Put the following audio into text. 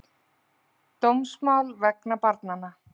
Dómsmál vegna banana